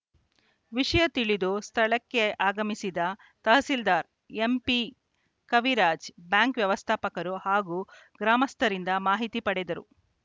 ವಿಷಯ ತಿಳಿದು ಸ್ಥಳಕ್ಕಾಗಮಿಸಿ ತಹಸೀಲ್ದಾರ್‌ ಎಂಪಿಕವಿರಾಜ್‌ ಬ್ಯಾಂಕ್‌ ವ್ಯವಸ್ಥಾಪಕರು ಹಾಗೂ ಗ್ರಾಮಸ್ಥರಿಂದ ಮಾಹಿತಿ ಪಡೆದರು